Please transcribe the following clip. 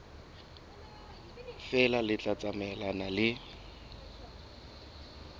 feela le tla tsamaelana le